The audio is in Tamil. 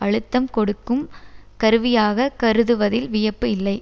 அழுத்தம் கொடுக்கும் கருவியாக கருதுவதில் வியப்பு இல்லை